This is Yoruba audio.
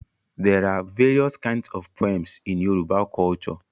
There are various kinds of poems in Yoruba culture